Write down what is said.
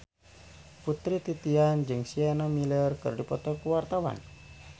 Putri Titian jeung Sienna Miller keur dipoto ku wartawan